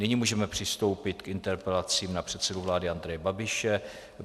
Nyní můžeme přistoupit k interpelacím na předsedu vlády Andreje Babiše.